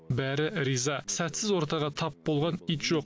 бәрі риза сәтсіз ортаға тап болған ит жоқ